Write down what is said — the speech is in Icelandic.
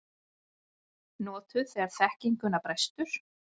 Notuð þegar þekkinguna brestur.